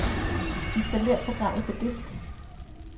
Installer programmet på disk.